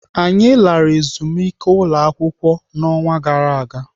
Anyị lara ezumike ụlọakwụkwọ n'ọnwa gara aga.